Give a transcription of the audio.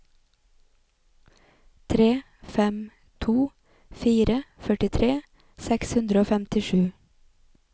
tre fem to fire førtitre seks hundre og femtisju